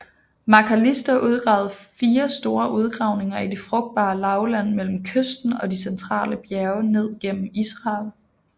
Macalister udgravede fire store udgravninger i det frugtbae lavland mellem kysten og de centrale bjerge ned gennem Israel